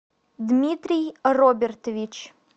дмитрий робертович